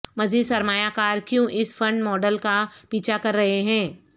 مزید سرمایہ کار کیوں اس فنڈ ماڈل کا پیچھا کر رہے ہیں